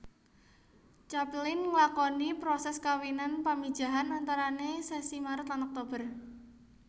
Capelin nglakoni proses kawinan pamijahan antarane sasi Maret lan Oktober